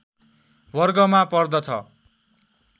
वर्गमा पर्दछ